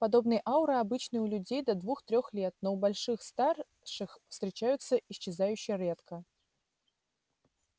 подобные ауры обычны у детей до двух-трех лет но у более старших встречаются исчезающе редко